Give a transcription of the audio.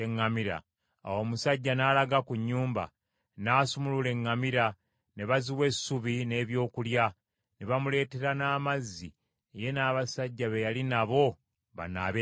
Awo, omusajja n’alaga ku nnyumba, n’asumulula eŋŋamira, ne baziwa essubi n’ebyokulya ne bamuleetera n’amazzi ye n’abasajja be yali nabo banaabe ebigere.